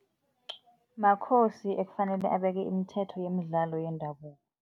Makhosi ekufanele abeke imithetho yemidlalo yendabuko.